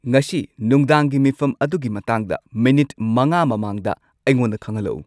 ꯉꯁꯤ ꯅꯨꯡꯗꯥꯡꯒꯤ ꯃꯤꯐꯝ ꯑꯗꯨꯒꯤ ꯃꯇꯥꯡꯗ ꯃꯤꯅꯤꯠ ꯃꯉꯥ ꯃꯃꯥꯡꯗ ꯑꯩꯉꯣꯟꯗ ꯈꯪꯍꯜꯂꯛꯎ